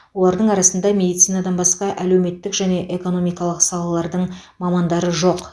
олардың арасында медицинадан басқа әлеуметтік және экономикалық салалардың мамандары жоқ